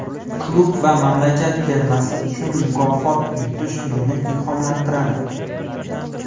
Klub va mamlakat termasi uchun mukofot yutish meni ilhomlantiradi.